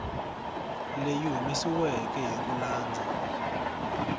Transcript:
leyi humesiweke hi ku landza